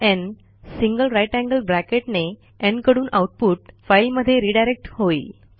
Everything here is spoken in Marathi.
न् greater than साइन ने न् कडून आऊटपुट फाईलमध्ये रिडायरेक्ट होईल